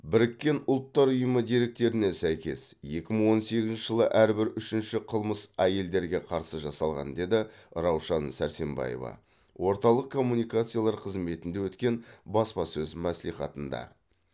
біріккен ұлттар ұйымы деректеріне сәйкес екі мың он сегізінші жылы әрбір үшінші қылмыс әйелдерге қарсы жасалған деді раушан сәрсембаева орталық коммуникациялар қызметінде өткен баспасөз мәслихатында